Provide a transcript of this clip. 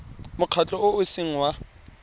mokgatlho o o seng wa